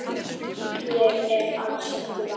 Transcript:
Þér er ekki alls varnað.